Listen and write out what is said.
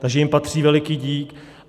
Takže jim patří veliký dík.